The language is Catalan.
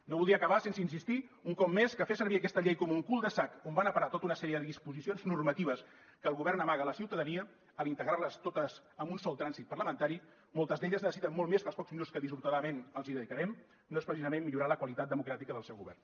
no voldria acabar sense insistir un cop més que fer servir aquesta llei com un cul de sac on van a parar tota una sèrie de disposicions normatives que el govern amaga a la ciutadania al integrar les totes en un sol tràmit parlamentari moltes d’elles necessiten molt més que els pocs minuts que dissortadament els hi dedicarem no és precisament millorar la qualitat democràtica del seu govern